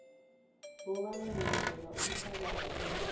kobana unikele ubufakazi